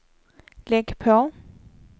lägg på